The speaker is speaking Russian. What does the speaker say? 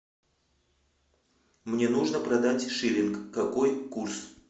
мне нужно продать шиллинг какой курс